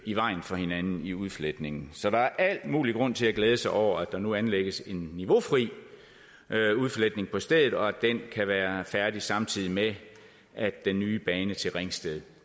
i vejen for hinanden i udfletningen så der er al mulig grund til at glæde sig over at der nu anlægges en niveaufri udfletning på stedet og at den kan være færdig samtidig med at den nye bane til ringsted